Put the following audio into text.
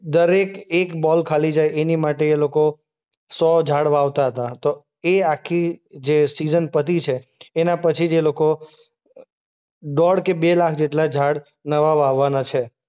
દરેક એક બોલ ખાલી જાય એની માટે એ લોકો સો ઝાડ વાવતાં હતા. તો એ આખી જે સીઝન પતી છે એના પછી જ એ લોકો દોઢ કે બે લાખ જેટલા ઝાડ નવા વાવવાના છે.